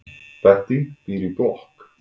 Bettý býr í blokk.